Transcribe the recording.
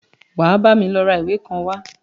Wà á bámi lọ ra ìwé kan wá!